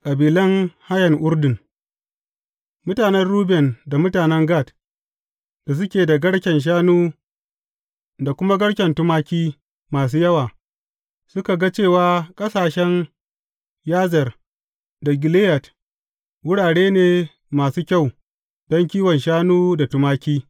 Kabilan hayen Urdun Mutanen Ruben da mutanen Gad, da suke da garken shanu da kuma garke tumaki masu yawa, suka ga cewa ƙasashen Yazer da Gileyad wurare ne masu kyau don kiwon shanu da tumaki.